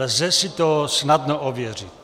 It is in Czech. Lze si to snadno ověřit.